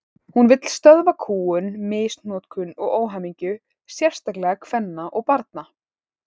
Hún vill stöðva kúgun, misnotkun og óhamingju, sérstaklega kvenna og barna.